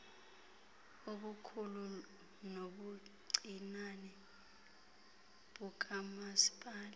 ubukhulu nobuncinane bukamasipala